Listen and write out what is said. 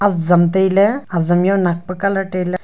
azam tailey azam jaw nakpa colour taila--